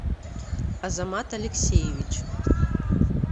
азамат алексеевич